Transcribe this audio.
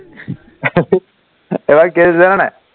এবাৰ কি হৈছে জান নাই